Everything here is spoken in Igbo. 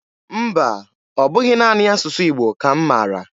Mba, ọ bụghị naanị asụsụ Igbo ka m maara.